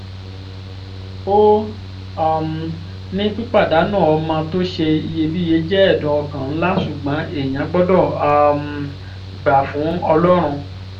ó um ní pípàdánù ọmọ tó ṣe iyebíye jẹ́ ẹ̀dùn ọkàn ńlá ṣùgbọ́n èèyàn gbọ́dọ̀ um gbà fún ọlọ́run